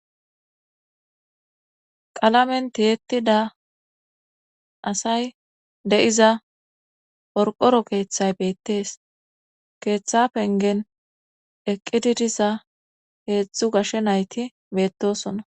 qalamen tiyeettida asay de7iza porqoro keeththay beettees keeththa pengen eqqididisa heedzdzu gashshe nayti beettosona